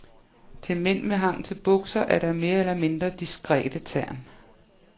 Til mænd med hang til bukser er der mere eller mindre diskrete tern.